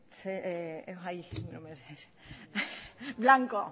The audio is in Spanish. blanco